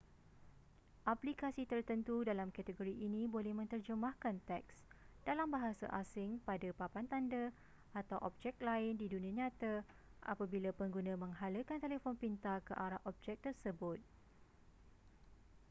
aplikasi tertentu dalam kategori ini boleh menterjemahkan teks dalam bahasa asing pada papan tanda atau objek lain di dunia nyata apabila pengguna menghalakan telefon pintar ke arah objek tersebut